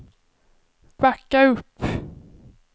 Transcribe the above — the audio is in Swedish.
backa upp